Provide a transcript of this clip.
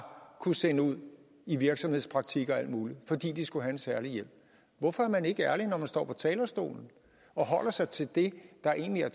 kunne sende ud i virksomhedspraktik og alt muligt fordi de skulle have en særlig hjælp hvorfor er man ikke ærlig når man står på talerstolen og holder sig til det der egentlig